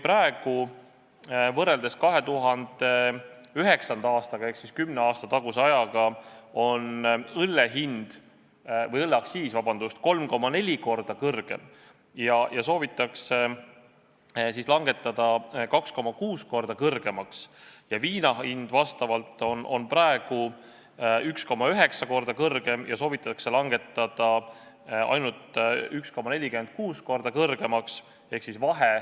Praegu on võrreldes 2009. aastaga ehk siis kümne aasta taguse ajaga õlleaktsiis 3,4 korda kõrgem ja soovitakse langetada 2,6 korda kõrgemaks, viinal on see praegu 1,9 korda kõrgem ja soovitakse langetada ainult 1,46 korda kõrgemaks.